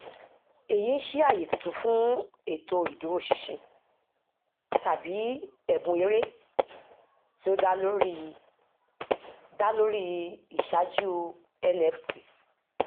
èyí ń ṣí àyè tuntun fún ètò ìdúróṣinṣin tàbí ẹbùn eré tí ó dá lórí dá lórí ìṣáájú nft